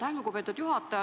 Aitäh, lugupeetud juhataja!